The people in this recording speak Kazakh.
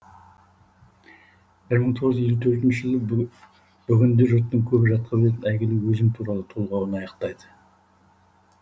бір мың тоғыз жүз елу төртінші жылы бүгінде жұрттың көбі жатқа білетін әйгілі өзім туралы толғауын аяқтайды